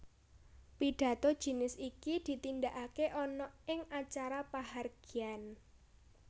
Pidhato jinis iki ditindakaké ana ing acara pahargyan